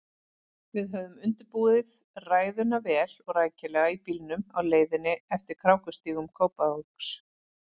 Við höfðum undirbúið ræðuna vel og rækilega í bílnum á leiðinni eftir krákustígum Kópavogs.